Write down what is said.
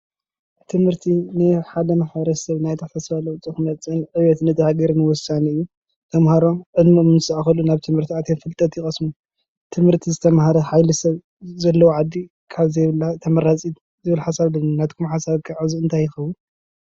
ትምህርቲ ንሓደ ማሕበረስብ ናይ ትሕዝቶ ለዉጢ ንክመጽ ዕብየት ነታ ሃገር ወሳኒ እዩ ፤ተምሃሮ ዕድሚኦም ምስ ኣከሉ ናብ ትምህርቲ ኣትዮም ፍልጠት ይቀስሙ፤ ትምህርቲ ዝተምሃረ ሓይሊ ስብ ዘለዎ ዓዲ ካብ ዘይብላ ተምራጺ ዝብል ሓሳብ ኣለኒ። ናትኩም ሓሳብ እንታይ ይኾዉን?